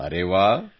ಅರೆ ವಾಹ್